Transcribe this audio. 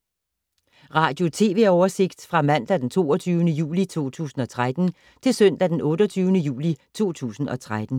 Radio/TV oversigt fra mandag d. 22. juli 2013 til søndag d. 28. juli 2013